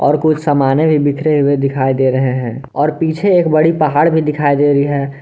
और कुछ समाने भी बिखरे हुए दिखाई दे रहे हैं और पीछे एक बड़ी पहाड़ भी दिखाई दे रहे हैं।